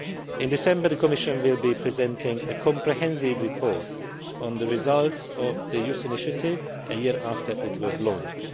In December the Commission will be presenting a comprehensive report on the results of the Youth Initiative one year after it was launched.